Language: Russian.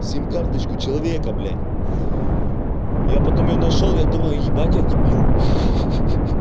сим карточку человека блядь я потом её нашёл я думал ебать я дебил